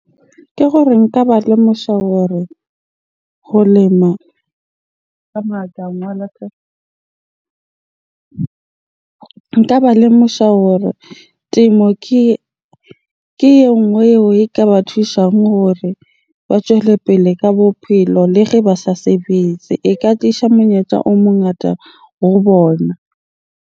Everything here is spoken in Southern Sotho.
Ke hore nka ba lemosha hore ho lema ka . Nka ba lemosha hore temo ha ke e nngwe eo e ka ba thushang hore ba tjwelepele ka bophelo le ba sa sebetse. E ka tlisha monyetla o mongata ho bona.